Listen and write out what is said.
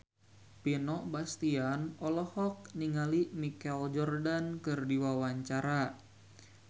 Vino Bastian olohok ningali Michael Jordan keur diwawancara